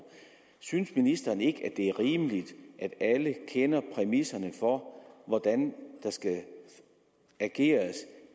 synes ministeren ikke det er rimeligt at alle kender præmisserne for hvordan der skal ageres